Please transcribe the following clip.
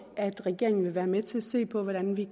at regeringen vil være med til at se på hvordan vi